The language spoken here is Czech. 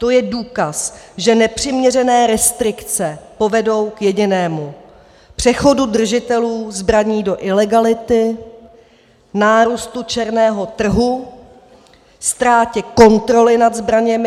To je důkaz, že nepřiměřené restrikce povedou k jedinému - přechodu držitelů zbraní do ilegality, nárůstu černého trhu, ztrátě kontroly nad zbraněmi.